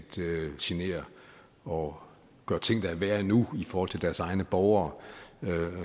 genere og gøre ting der er værre endnu i forhold til deres egne borgere